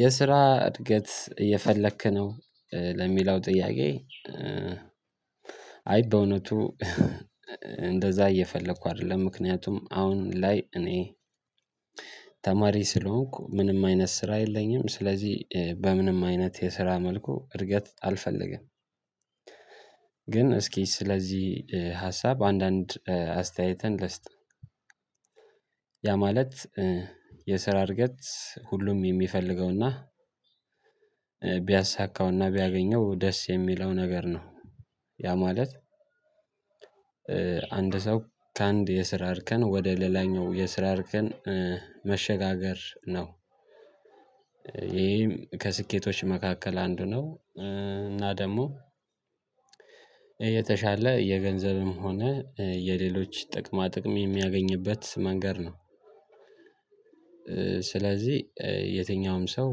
የስራ እድገት እየፈለክ ነው ለሚለው ጥያቄ? አይ በእውነቱ እንደዛ እየፈለኩ አይደለም። ምክንያቱም አሁን ላይ እኔ ተማሪ ስለሆንኩ ምንም አይነት ስራ የለኝም። ስለዚህ በምንም አይነት የስራ መልኩ እድገት አልፈለገም። ግን እስኪ ስለዚህ ሀሳብ አንዳንድ አስተያየትን ልስጥ። ያ ማለት የስራ እርገት ሁሉም የሚፈልገውና ቢያሳካውና ቢያገኘው ደስ የሚለው ነገር ነው። ያ ማለት አንድ ሰው ከአንድ የስራ አርከን ወደ ሌላኛው የስራ አርከን መሸጋገር ነው። ይሄም ከስኬቶች መካከል አንዱ ነው እና ደግሞ የተሻለ የገንዘብም ሆነ የሌሎች ጥቅማ ጥቅም የሚያገኝበት መንገድ ነው። ስለዚህ የትኛውም ሰው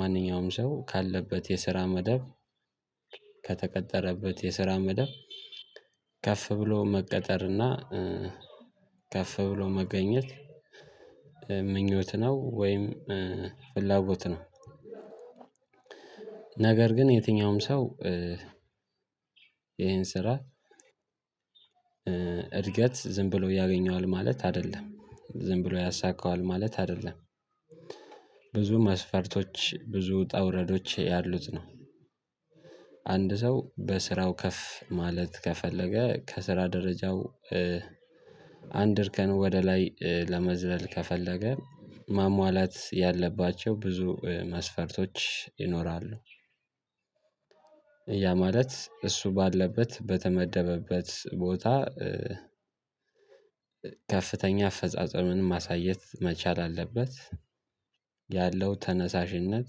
ማንኛውም ሰው ካለበት የስራ መደብ ከተቀጠረበት የስራ መደብ ከፍ ብሎ መቀጠርና ከፍ ብሎ መገኘት ምኞት ነው ወይም ፍላጎት ነው። ነገር ግን የትኛውም ሰው ይሄን ስራ እድገት ዝም ብሎ ያገኘዋል ማለት አይደለም ዝም ብሎ ያሳካዋል ማለት አይደለም። ብዙ መስፈርቶች ብዙ ብዙ ውጣ ውረዶች ያሉት ነው። አንድ ሰው በስራው ከፍ ማለት ከፈለገ ከስራ ደረጃው አንድ እርከን ወደ ላይ ለመዝለል ከፈለገ ማሟላት ያለባቸው ብዙ መስፈርቶች ይኖራሉ። ያ ማለት እሱ ባለበት በተመደበበት ቦታ ከፍተኛ አፈጻጸሙን ማሳየት መቻል አለበት። ያለው ተነሳሽነት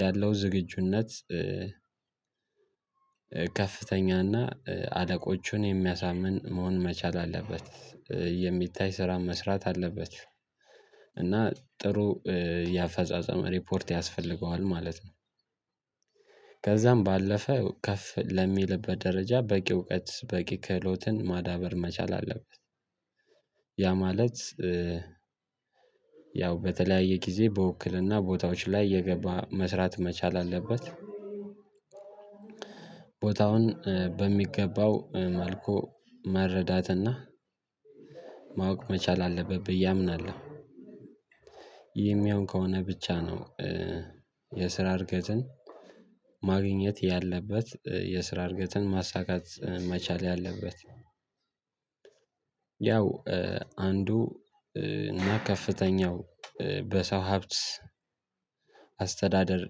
ያለው ዝግጁነት ከፍተኛና አለቆቹን የሚያሳምን መሆን መቻል አለበት። የሚታይ ስራ መስራት አለበት እና ጥሩ የአፈጻጸም ሪፖርት ያስፈልገዋል ማለት ነው። ከዛም ባለፈ ከፍ ለሚልበት ደረጃ በቂ እውቀት በቂ ክህሎትን ማዳበር መቻል አለበት። ያ ማለት ያው በተለያየ ጊዜ በውክልና ቦታዎች ላይ የገባ መስራት መቻል አለበት። ቦታውን በሚገባው መልኩ መረዳትና ማወቅ መቻል አለበት ብዬ አምናለሁ። ይሄም ያውም ከሆነ ብቻ ነው። የስራ እርገትን ማግኘት ያለበት የስራ እርገትን ማሳካት መቻል ያለበት። ያው አንዱ እና ከፍተኛው በሰው ሀብት አስተዳደር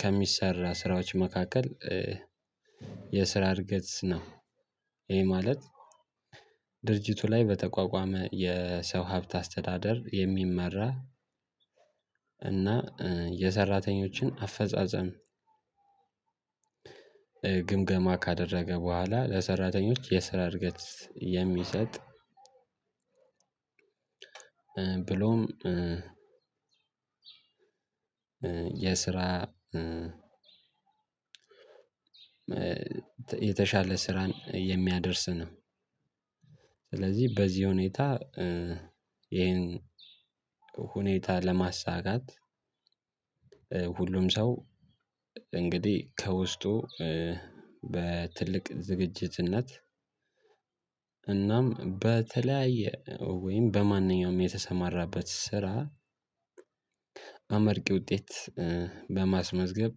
ከሚሰራ ስራዎች መካከል የስራ እርገት ነው። ይሄ ማለት ድርጅቱ ላይ በተቋቋመ የሰው ሀብት አስተዳደር የሚመራ እና የሰራተኞችን አፈጻጸም ግምገማ ካደረገ በኋላ ለሰራተኞች የስራ እርገት የሚሰጥ ብሎም የስራ የተሻለ ስራን የሚያደርስ ነው። ስለዚህ በዚህ ሁኔታ ይሄን ሁኔታ ለማሳካት ሁሉም ሰው እንግዲህ ከውስጡ በትልቅ ዝግጅትነት እናም በተለያየ ወይም በማንኛውም የተሰማራበት ስራ አመርቂ ውጤት በማስመዝገብ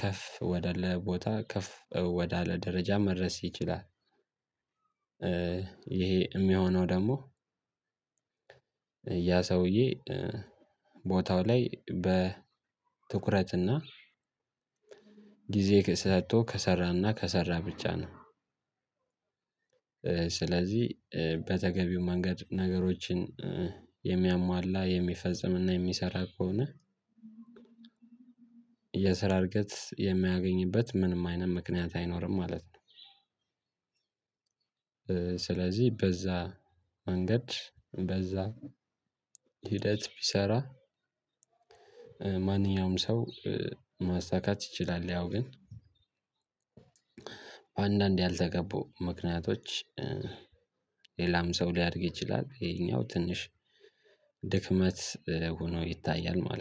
ከፍ ወዳለ ቦታ ከፍ ወዳለ ደረጃ መድረስ ይችላል። ይሄ የሚሆነው ደግሞ ያ ሰውዬ ቦታው ላይ በ ትኩረትና ጊዜ ሰጥቶ ከሰራና ከሰራ ብቻ ነው። ስለዚህ በተገቢው መንገድ ነገሮችን የሚያሟላ የሚፈጽም እና የሚሰራ ከሆነ የስራ እርገት የማያገኝበት ምንም አይነት ምክንያት አይኖርም ማለት ነው። ስለዚህ በዛ መንገድ በዛ ሂደት ቢሰራ ማንኛውም ሰው ማሳካት ይችላል ያው ግን በአንዳንድ ያልተገቡ ምክንያቶች ሌላም ሰው ሊያድግ ይችላል ይሄኛው ትንሽ ድክመት ሆኖ ይታያል ማለት ነው